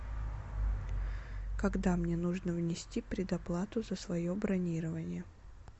когда мне нужно внести предоплату за свое бронирование